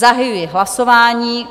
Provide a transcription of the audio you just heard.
Zahajuji hlasování.